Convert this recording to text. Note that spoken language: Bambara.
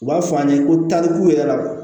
U b'a fɔ an ye ko tarikuw yɛrɛ labɔ